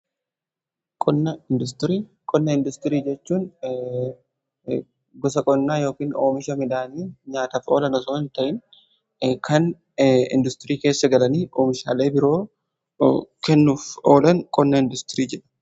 Qonna industirii jechuun gosa qonnaa yookan oomisha midhaanii nyaataf oolan osoo hin ta'in kan industirii keessa galanii oomishaalee biroo kennuuf oolan qonnaa industirii jedhama.